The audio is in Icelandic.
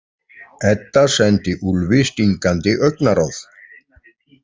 Edda sendi Úlfi stingandi augnaráð.